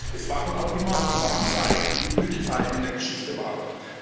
Es waren auch immer die Warmzeiten, die die Blütezeiten in der Geschichte waren.